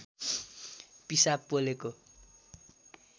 पिसाब पोलेको